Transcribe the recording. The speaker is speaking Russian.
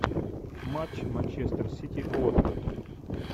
матч манчестер сити уотфорд